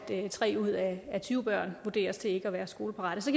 tre ud af tyve børn vurderes ikke at være skoleparate så